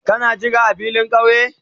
Ka yira a filin kauye?